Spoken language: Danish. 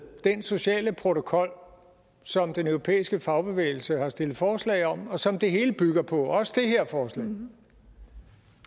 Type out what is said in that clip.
den sociale protokol som den europæiske fagbevægelse har stillet forslag om og som det hele bygger på og også